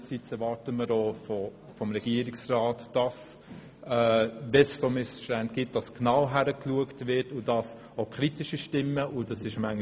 Anderseits erwarten wir auch vom Regierungsrat, dass bei solchen Missständen genau hingeschaut wird und auch kritische Stimmen nicht unter den Tisch gewischt werden.